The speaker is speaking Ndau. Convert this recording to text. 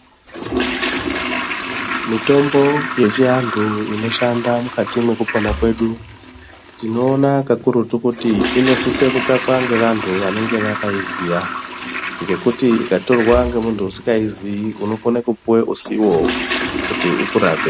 Mitombo yechiandu inoshanda mukati mwekupona kwedu tinoona kakurutu kuti inosise kutsvakwa ngevandu vanenge vakaiziya ngekuti ikatorwa ngemundu usingaiziyi unokone kupuwe usiwo kuti ukurape.